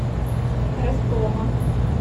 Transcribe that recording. ростовом